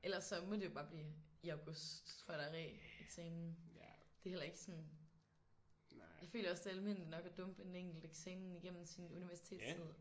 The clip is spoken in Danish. Ellers så må det bare blive i august hvor der er reeksamen. Det er heller ikke sådan jeg føler også det er almindeligt nok at dumpe en enkelt eksamen igennem sin universitetstid